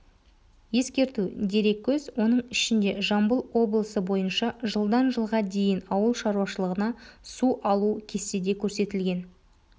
ескерту дереккөз оның ішінде жамбыл облысы бойынша жылдан жылға дейін ауыл шаруашылығына су алу кестеде көрсетілген